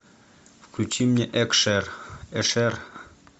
включи мне экшер эшер